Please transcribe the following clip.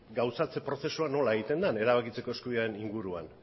gauzatze prozesua nola egiten den erabakitzeko eskubidearen inguruan